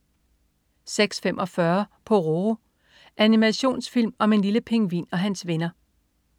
06.45 Pororo. Animationsfilm om en lille pingvin og hans venner